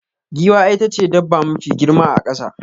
Giwa itace dabba mafi girma a kasa.